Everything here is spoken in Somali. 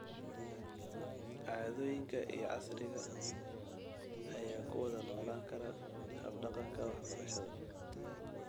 Caadooyinka iyo casriga ayaa ku wada noolaan kara habdhaqanka waxbarashada.